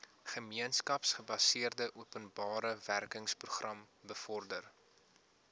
gemeenskapsgebaseerde openbarewerkeprogram bevorder